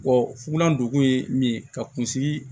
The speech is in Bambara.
funa ndugu ye min ye ka kunsigi